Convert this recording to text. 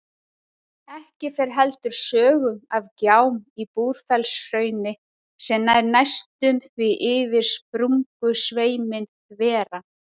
Ekki fer heldur sögum af gjám í Búrfellshrauni sem nær næstum því yfir sprungusveiminn þveran.